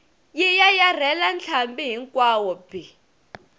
yi yayarhela ntlhambi hinkwawo bi